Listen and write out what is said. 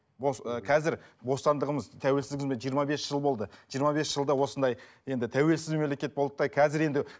ы қазір бостандығымыз тәуеліздігіміз жиырма бес жыл болды жиырма бес жылда осындай енді тәуелсіз мемлекет болды да қазір енді